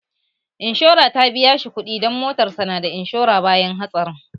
Inshorar ta biya shi kuɗi dan motarsa ​​na da inshora, bayan hatsarin